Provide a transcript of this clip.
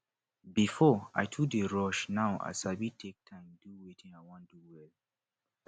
before i too dey rush now i sabi take time do wetin i wan do well